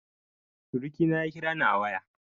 Surukina ya kirani a waya